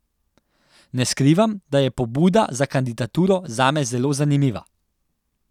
Ne skrivam, da je pobuda za kandidaturo zame zelo zanimiva.